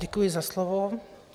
Děkuji za slovo.